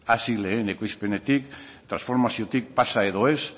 hasi lehen ekoizpenetik transformaziotik pasa edo ez